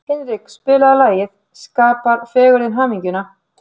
Hinrik, spilaðu lagið „Skapar fegurðin hamingjuna“.